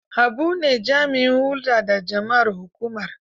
Habu ne jami'in hulɗa da jama'ar hukumar.